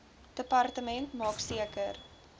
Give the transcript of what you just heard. departement maak seker